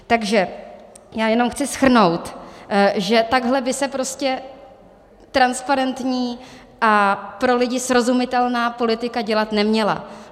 Takže já jenom chci shrnout, že takhle by se prostě transparentní a pro lidi srozumitelná politika dělat neměla.